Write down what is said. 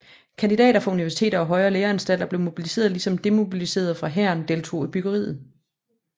Kandidater fra universiteter og højere læreanstalter blev mobiliseret ligesom demobiliserede fra hæren deltog i byggeriet